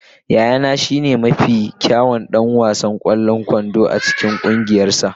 Yayana shine mafi kyawun ɗan wasan ƙwallon kwando a cikin ƙungiyarsa.